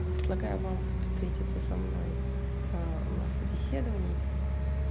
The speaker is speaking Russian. предлагаю вам встретиться со мной ээ на собеседовании